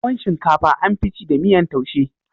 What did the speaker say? Tuwo shinkafa an fi ci da miyan taushe